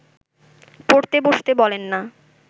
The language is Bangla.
পড়তে বসতে বলেন না